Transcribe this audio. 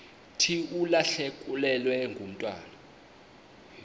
thi ulahlekelwe ngumntwana